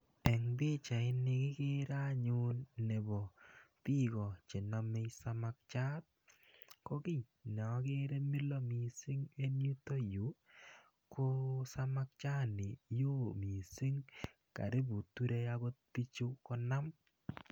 Eng pichait ni kikere anyun nebo biiko chenomei samakiat ko kiy ne akere milo mising eng yuto Yu ko samakchat ni yoo mising karipu turei akot bichu konam.